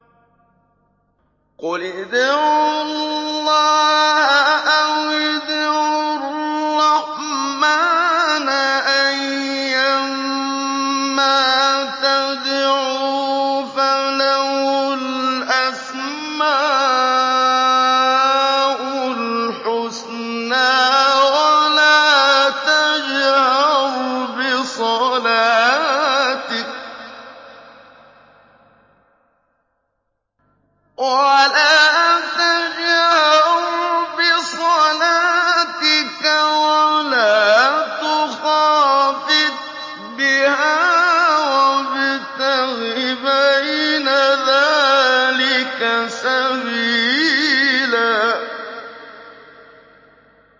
قُلِ ادْعُوا اللَّهَ أَوِ ادْعُوا الرَّحْمَٰنَ ۖ أَيًّا مَّا تَدْعُوا فَلَهُ الْأَسْمَاءُ الْحُسْنَىٰ ۚ وَلَا تَجْهَرْ بِصَلَاتِكَ وَلَا تُخَافِتْ بِهَا وَابْتَغِ بَيْنَ ذَٰلِكَ سَبِيلًا